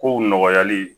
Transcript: Kow nɔgɔyali